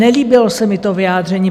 Nelíbilo se mi to vyjádření.